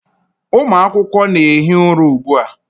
Ụmụ akwụkwọ na-ehi ụra ugbu a.